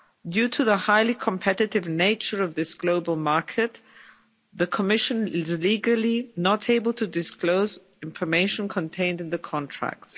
Due to the highly competitive nature of this global market, the Commission is legally not able to disclose the information contained in the contracts.